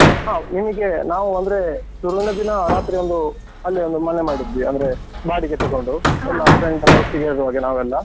ಹೌದ್ ನಿಮಗೆ ನಾವು ಅಂದ್ರೆ ಶುರುವಿನ ದಿನ ರಾತ್ರಿ ಒಂದು ಅಲ್ಲಿ ಒಂದು ಮನೆ ಮಾಡಿದ್ವಿ ಅಂದ್ರೆ ಬಾಡಿಗೆ ತೆಗೊಂಡು. ಒಟ್ಟಿಗೆ ಹೋಗುವ ಹಾಗೆ ನಾವೆಲ್ಲ.